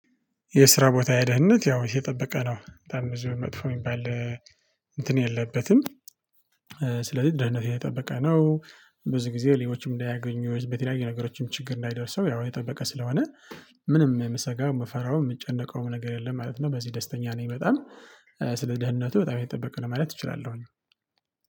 የስራ ቦታ ደህንነት ያው የተጠበቀ ነው በጣም ብዙ መጥፎ የሚባል እንትን የለበትም። ስለዚህ ደህንነቴ የጠበቀ ነው። ብዙ ጊዜ ሌቦችም እንዳያገኙ በተለያየ ነገሮችም ችግር እንዳይደርሰው ያው የተጠበቀ ስለሆነ ምንም የምሰጋው የምፈራው የምጨነቀውም ነግር የለም ማለት ነው። በዚህ ደስተኛ ነኝ በጣም። ስለ ደህንነቱ በጣም የተጠበቀ ነው ማለት እችላለሁኝ።